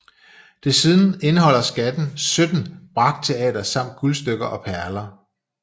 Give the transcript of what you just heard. Desuden indeholdt skatten 17 brakteater samt guldstykker og perler